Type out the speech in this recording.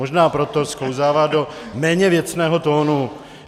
Možná proto sklouzává do méně věcného tónu.